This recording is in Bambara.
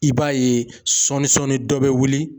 I b'a ye sɔɔnin sɔɔnin dɔ bɛ wuli